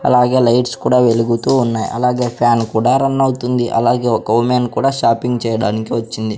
అలాగే లైట్స్ కూడా వెలుగుతూ ఉన్నాయ్ అలాగే ఫ్యాన్ కూడా రన్ అవుతుంది అలాగే ఒక ఉమెన్ కూడా షాపింగ్ చేయడానికి వచ్చింది.